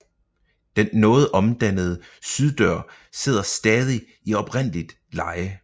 Den noget omdannede syddør sidder stadig i oprindeligt leje